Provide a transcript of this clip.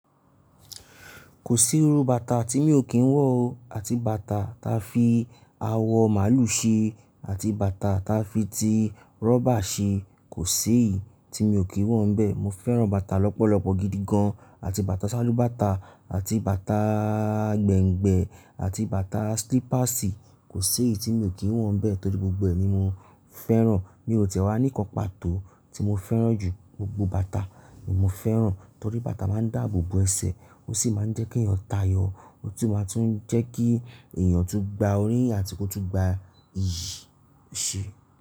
Kò sí irú bàtà tí mi ò kí ń wọ̀ o. Àti bàtà ta fi awọ màlúù ṣe àti bàtà ta fi ti rọ́bà ṣe, kò séèyì tí mi ò kí ń wọ̀ bẹ́ẹ̀. Mo fẹ́ran bàtà lọ́pọ̀lọpọ̀ gidi gan. Àti bàtà ṣálúbàtà àti bàtà gbẹ̀ǹgbẹ̀ àti bàtà slípásì, kò si èyì tí mi ò kí ń wọ̀ bẹ́ẹ̀ torí gbogbo ẹ ni mo fẹ́ran. Mi ò tiẹ̀ wá níkan pàtó tí mo fẹ́ran jù. Gbogbo bàtà ni mo fẹ́ran torí bàtà máa ń dáàbò bo ẹsẹ̀ ó sì máa ń jẹ́ kí ẹyan tayọ. Ó tún máa tún jẹ́ kí eẹyan tún gba oríyi àti kó tún gba iyì ese.